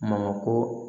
Mamako